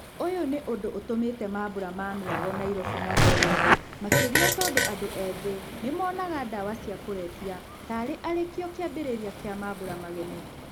ũyũ nĩ ũndũ ũtũmĩtē mambũra ma mĩago Nairobi matheereme makĩria tondũ andũ ethĩ nĩmonaga ndawa cia kũrebia ta arĩkĩo kĩambĩrĩria kĩa mambũra magemu.